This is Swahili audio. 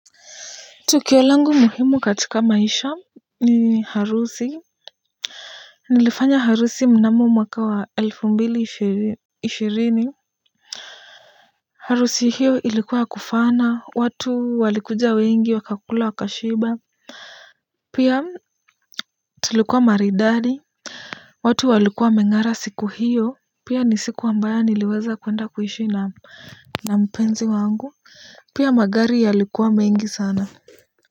Tukio langu muhimu katika maisha ni harusi. Nilifanya harusi mnamo mwaka wa elfu mbili ishirini. Harusi hiyo ilikuwa ya kufana watu walikuja wengi wakakula wakashiba. Pia tulikuwa maridadi, watu walikuwa wameng'ara siku hiyo, pia ni siku ambayo niliweza kuenda kuhishi na mpenzi wangu pia magari yalikuwa mengi sana.